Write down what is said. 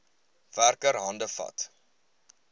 werker hande vat